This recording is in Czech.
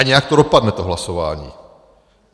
A nějak to dopadne to hlasování.